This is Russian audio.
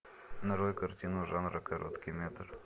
нарой картину жанра короткий метр